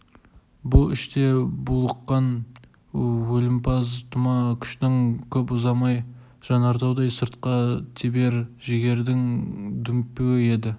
бұл іште булыққан өмірпаз тұма күштің көп ұзамай жанартаудай сыртқа тебер жігердің дүмпуі еді